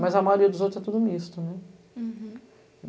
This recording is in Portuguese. Mas a maioria dos outros é tudo misto, né? Uhum